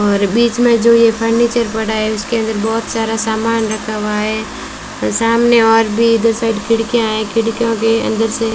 और बीच में जो ये फर्नीचर पड़ा है उसके अंदर बहुत सारा सामान रखा हुआ है और सामने और भी दो साइड खिड़कियां हैं खिड़कियों के अंदर से --